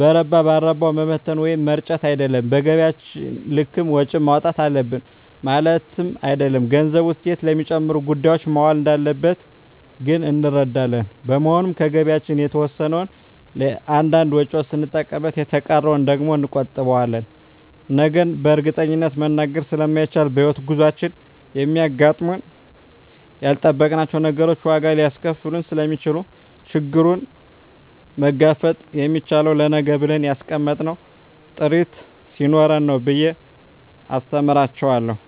በረባ ባረባዉ መበተን ወይም መርጨት አይደለም በገቢያችን ልክም ወጪ ማዉጣት አለብን ማለትም አይደለም ገንዘቡ እሴት ለሚጨምሩ ጉዳዮች መዋል እንዳለበት ግን እንረዳለን በመሆኑም ከገቢያችን የተወሰነዉን ለእያንዳንድ ወጪዎች ስንጠቀምበት የተቀረዉን ደግሞ እንቆጥበዋለን ነገን በእርግጠኝነት መናገር ስለማይቻልም በሕይወት ጉዟችን የሚያጋጥሙን ያልጠበቅናቸዉ ነገሮች ዋጋ ሊያስከፍሉን ስለሚችሉ ችግሩን መጋፈጥ የምንችለዉ ለነገ ብለን ያስቀመጥነዉ ጥሪት ስኖረን ነዉ ብየ አስተምራቸዋለሁ